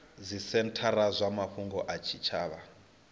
dzisenthara dza mafhungo a zwitshavha